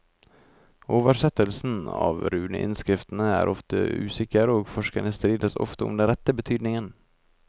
Oversettelsen av runeinnskriftene er ofte usikker og forskerne strides ofte om den rette betydningen.